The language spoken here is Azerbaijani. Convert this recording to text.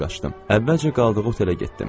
Əvvəlcə qaldığı otelə getdim.